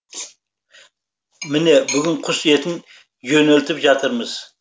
міне бүгін құс етін жөнелтіп жатырмыз